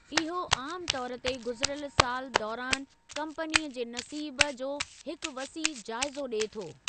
इहो आमु तौर ते गुज़िरियल साल दौरानि कम्पनीअ जे नसीब जो हिकु वसीह जाइज़ो ॾिए थो।